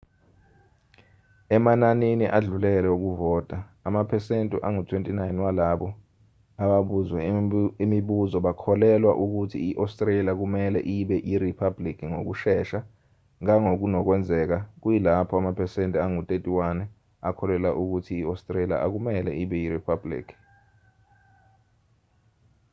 emananini adlulele wokuvota amaphesentu angu-29 walabo ababuzwe imibuzo bakholelwa ukuthi i-australia kumelwe ibe yiriphabhuliki ngokushesha ngangokunokwenzeka kuyilapho amaphesenti angu-31 akholelwa ukuthi i-australia akumelwe ibe yiriphabhuliki